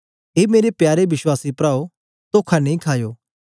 ए मेरे प्यारे विश्वासी प्राओ तोखा नेई खायो